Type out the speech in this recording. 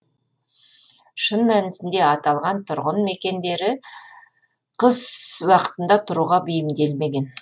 шын мәнісінде аталған тұрғын мекендері қыс уақытында тұруға бейімделмеген